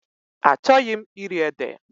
Achọghị m iri ede.